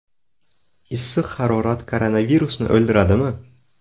Issiq harorat koronavirusni o‘ldiradimi?